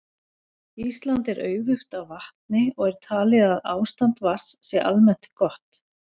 Ísland er auðugt af vatni og er talið að ástand vatns sé almennt gott.